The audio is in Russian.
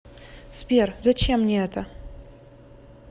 сбер зачем мне это